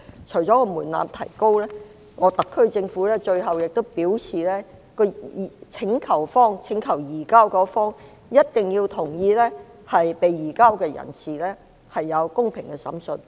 除了提高門檻外，特區政府最後也表示，請求方一定要同意被移交人士有公平的審訊。